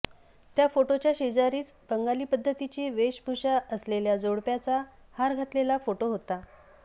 त्या फोटोच्या शेजारीच बंगाली पद्धतीची वेशभूषा असलेल्या जोडप्याचा हार घातलेला फोटो होता